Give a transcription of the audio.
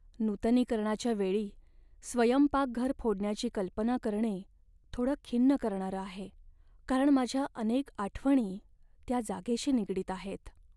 नूतनीकरणाच्या वेळी स्वयंपाकघर फोडण्याची कल्पना करणे थोडं खिन्न करणारं आहे, कारण माझ्या अनेक आठवणी त्या जागेशी निगडीत आहेत.